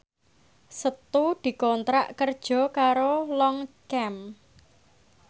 Setu dikontrak kerja karo Longchamp